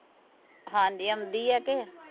ਹਾਂਜੀ ਆਉਂਦੀ ਆ ਕੇ